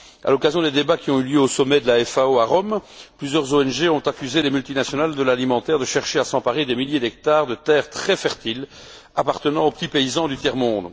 À l'occasion des débats qui ont eu lieu au sommet de la FAO, à Rome, plusieurs ONG ont accusé les multinationales de l'alimentaire de chercher à s'emparer des milliers d'hectares de terres très fertiles appartenant aux petits paysans du tiers monde.